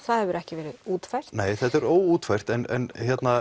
það hefur ekki verið útfært nei þetta er óútfært en